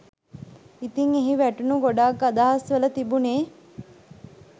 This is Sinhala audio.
ඉතින් එහි වැටුණු ගොඩක් අදහස් වල තිබුනේ